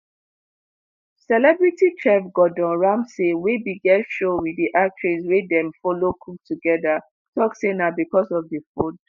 celebrity chef gordon ramsey wey bin get show wit di actress wey dem follow cook togeda tok say "na bicos of di food."